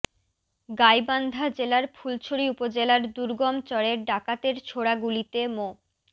গাইবান্ধা জেলার ফুলছড়ি উপজেলার দুর্গম চরে ডাকাতের ছোড়া গুলিতে মো